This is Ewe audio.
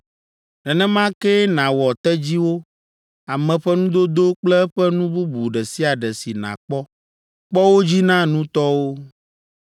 Nenema kee nàwɔ tedziwo, ame ƒe nudodo kple eƒe nu bubu ɖe sia ɖe si nàkpɔ. Kpɔ wo dzi na nutɔwo.